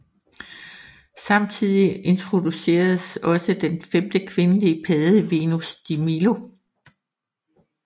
Samtidig introduceredes også en femte kvindelig padde Venus de Milo